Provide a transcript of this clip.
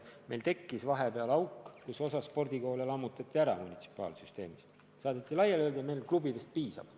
Meil tekkis vahepeal auk: osa spordikoole lammutati munitsipaalsüsteemis ära, õigemini saadeti laiali ja öeldi, et meile klubidest piisab.